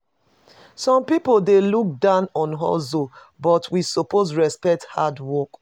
Some pipo dey look down on hustle, but we suppose respect hard work.